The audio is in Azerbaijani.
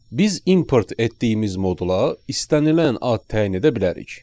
Biz import etdiyimiz modula istənilən ad təyin edə bilərik.